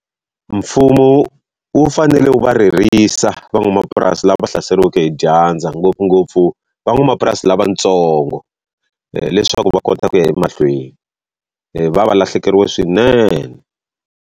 Mfumo wu fanele wu va ririsa van'wamapurasi lava va hlaseriweke hi dyandza ngopfungopfu van'wamapurasi lavatsongo leswaku va kota ku ya emahlweni va va va lahlekeriwe swinene.